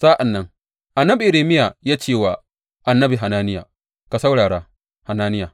Sa’an nan annabi Irmiya ya ce wa annabi Hananiya, Ka saurara, Hananiya!